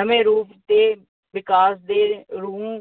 ਨਵੇਂ ਰੂਪ ਦੇ ਵਿਕਾਸ ਨੂੰ